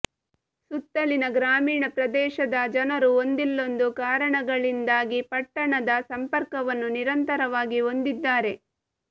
ಸುತ್ತಲಿನ ಗ್ರಾಮೀಣ ಪ್ರದೇಶದ ಜನರು ಒಂದಿಲ್ಲೊಂದು ಕಾರಣಗಳಿಂದಾಗಿ ಪಟ್ಟಣದ ಸಂಪರ್ಕವನ್ನು ನಿರಂತರವಾಗಿ ಹೊಂದಿದ್ಧಾರೆ